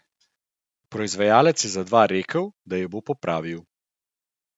Proizvajalec je za dva rekel, da ju bo popravil.